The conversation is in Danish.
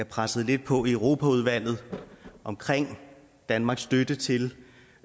pressede lidt på i europaudvalget omkring danmarks støtte til